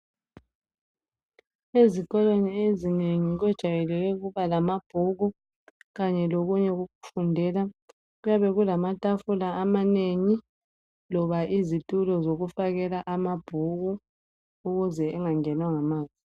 Ezikolweni ezinengi kujwayelekile ukuba lamabhuku kanye lokunye okokufundela. Kuyabe kulamatafula amanengi loba izitulo zokufakela amabhuku ukuze engangenwa ngamanzi.